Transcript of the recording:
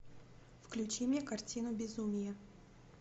включи мне картину безумие